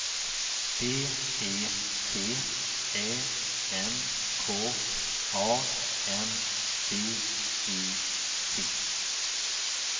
B E T Ä N K A N D E T